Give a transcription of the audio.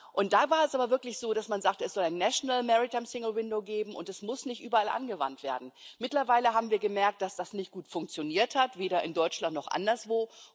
Und da war es aber wirklich so, dass man sagte Es soll ein geben, und es muss nicht überall angewandt werden. Mittlerweile haben wir gemerkt, dass das nicht gut funktioniert hat, weder in Deutschland noch anderswo.